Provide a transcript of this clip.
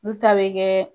Olu ta bɛ kɛ